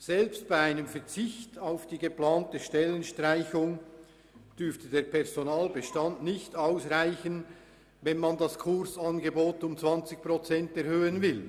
Selbst bei einem Verzicht auf die geplante Stellenstreichung dürfte der Personalbestand nicht ausreichen, wenn das Kursangebot um 20 Prozent erhöht wird.